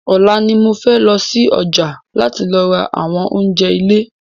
Ọ̀la ni mo fẹ́ lọsí ọjà láti lọ ra àwọn oúnjẹ ilé